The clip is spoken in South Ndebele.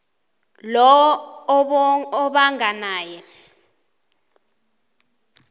lowo obanga naye